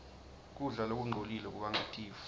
kudla lokungcolile kubanga tifo